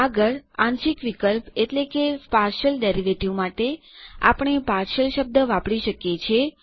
આગળ આંશિક વિકલ માટે આપણે પાર્શિયલ શબ્દ વાપરી શકીએ છીએ